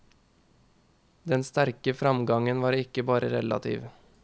Den sterke framgangen var ikke bare relativ.